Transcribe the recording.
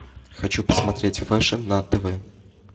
хочу посмотреть фэшн на тв